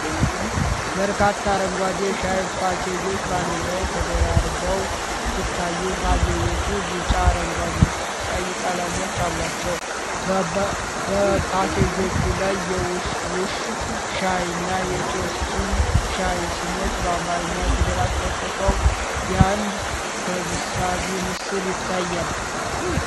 በርካታ አረንጓዴ የሻይ ፓኬጆች በአንድ ላይ ተደራርበው ሲታዩ፣ ፓኬጆቹ ቢጫ፣ አረንጓዴና ቀይ ቀለሞች አሏቸው። በፓኬጆቹ ላይ የ'ውሽ ውሽ ሻይ' እና የ'ጦሲኝ ሻይ' ስሞች በአማርኛ ፊደላት ተጽፈው የአንድ ሰብሳቢ ምስል ይታያል።